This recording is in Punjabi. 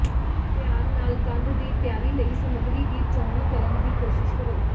ਧਿਆਨ ਨਾਲ ਕੰਧ ਦੀ ਤਿਆਰੀ ਲਈ ਸਮੱਗਰੀ ਦੀ ਚੋਣ ਕਰਨ ਦੀ ਕੋਸ਼ਿਸ਼ ਕਰੋ